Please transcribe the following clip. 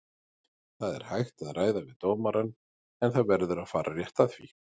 Það er hægt að ræða við dómarann en það verður að fara rétt að því.